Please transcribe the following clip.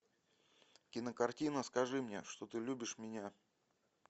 кинокартина скажи мне что ты любишь меня